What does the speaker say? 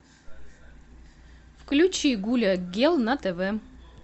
включи гуля гел на тв